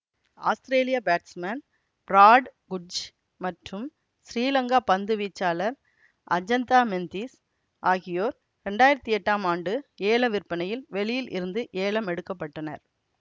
ஆஸ்திரேலிய batsman Brad Hodge மற்றும் ஸ்ரீலங்கா பந்து வீச்சாளர் அஜந்தா மெந்திஸ் ஆகியோர் இரண்டாயிரத்தி எட்டாம் ஆண்டு ஏலவிற்பனையில் வெளியில் இருந்து ஏலமெடுக்கப்பட்டனர்